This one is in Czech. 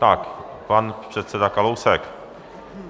Tak pan předseda Kalousek.